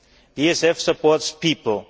The ESF supports people.